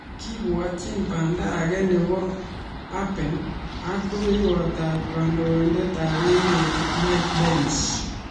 Kibwotchin panda agei nebo Abe ak rubeiwot ap kandoindet ap emet, Mike Pence.